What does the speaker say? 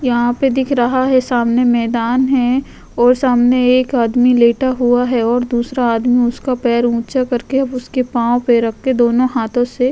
यहाँ पे दिख रहा है सामने मैंदान है और सामने एक आदमी लेटा हुआ है और दूसरा आदमी उसका पैर ऊंचा करके उसके पांव पर रखके दोनों हाथों से --